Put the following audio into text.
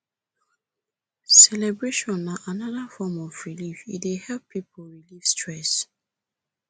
celebration na anoda form of relieve e dey help pipo relieve stress